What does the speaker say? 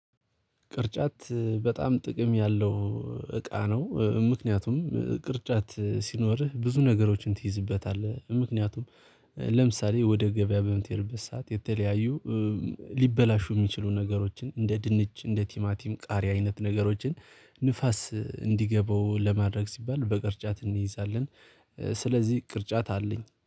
ቅርጫት በጣም ጥቅም ያለው እቃ ነው። ምክንያቱም ቅርጫት ሲኖርህ ብዙ ነገሮችን ትይዝበታለህ። ምክንያቱም ለምሳሌ ወደ ገበያ በምትሄድበት ሰዓት የተለያዩ ሊበላሹ የሚችሉ ነገሮችን እንደ ድንች እንደ ቲማቲም ቃሪያ አይነት ነገሮችን ንፋስ እንዲገባው ለማድረግ ሲባል በቅርጫት እንይዛለን። ስለዚህ ቅርጫት አለኝ